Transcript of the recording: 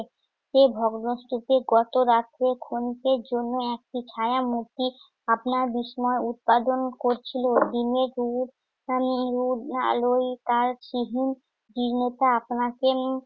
যে ভগ্নস্তূপে গতরাত্রে ক্ষণিকের জন্য একটি ছায়ামূর্তি আপনার বিস্ময় উৎপাদন করছিল দিনে আলোয় তার আপনাকে উম